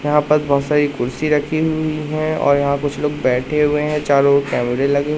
यहां पर बहुत सारी कुर्सी रखी हुई हैं और यहां कुछ लोग बैठे हुए हैं चारों ओर कैमरे लगे--